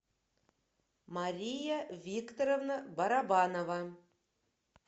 мария викторовна барабанова